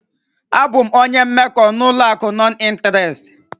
Abụ m onye mmekọ n'ụlọ akụ nọn ịnterest.